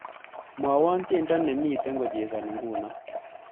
Mwawon tyendo nemito kochesani nguno